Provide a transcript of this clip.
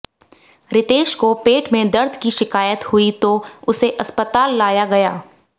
रितेश को पेट में दर्द की शिकायत हुई तो उसे अस्पताल लाया गया